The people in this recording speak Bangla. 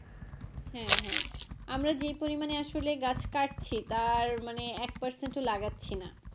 হ্যাঁ হ্যাঁ আমরা যেই পরিমানে আসলে গাছ কাটছি তার মানে এক percent ও লাগাচ্ছিনা।